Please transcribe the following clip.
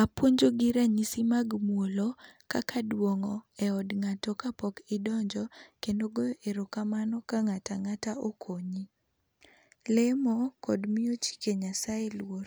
Apuonjogi ranyisi mag muolo, kaka duong'o eod ng'ato kapok idonjo, kendo goyo erokamano ka ng'ato ang'ata okonyi. Lemo kod miyo chike Nyasaye luor.